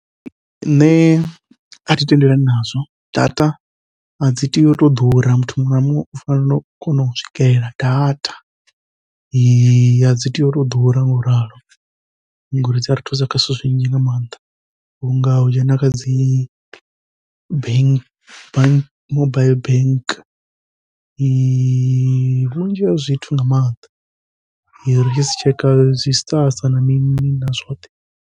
Nṋe athi tendelani nazwo data adzi tei uto ḓura, muthu muṅwe na muṅwe u fanela u kona u swikelela data adzi tei utou ḓura ngauralo, ngori dzia ri thusa kha zwithu zwinzhi nga maanḓa. Vhunga u dzhena kha dzi bank bank mobaiḽi bank, vhunzhi ha zwithu nga maanḓa ri tshi zwi tshekha zwi na mini na zwoṱhe.